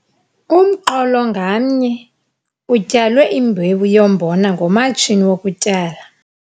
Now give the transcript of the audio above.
Umqolo ngamnye utyalwe imbewu yombona ngomatshini wokutyala.